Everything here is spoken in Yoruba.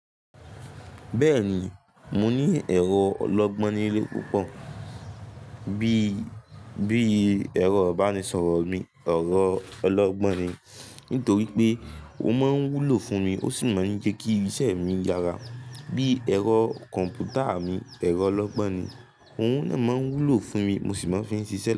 Bẹ́ẹ̀ni, mo ní ẹ̀rọ ọlọ́gbọ́n nílé púpọ̀. Bí i, bí i ẹ̀rọ ìbánisọ̀rọ̀ mi, ẹ̀rọ ọlọ́gbọ́n ni, nítorí pé ó máa ń wúlò fún mi ó sì máa ń jẹ́ kí iṣẹ́ mi yára. Bí i ẹ̀rọ kọ̀m̀pútà mi, ẹ̀rọ ọlọ́gbọ́n ni. Ohun náà máa n wúlò fún mi mo sì máa ń fi ń ṣiṣẹ́.